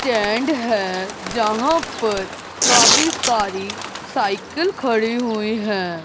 Stand है जहां पर काफी सारी साइकल खड़ी हुई है।